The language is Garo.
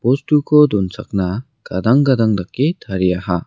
bostuko donchakna gadang gadang dake tariaha.